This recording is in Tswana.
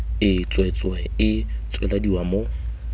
e tswetswe e tswelediwa mo